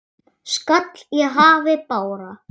skall í hafi bára.